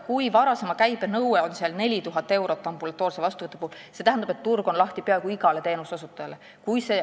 Kui varasema käibe nõue on ambulatoorse vastuvõtu puhul 4000 eurot, siis see tähendab, et turg on peaaegu igale teenuseosutajale lahti.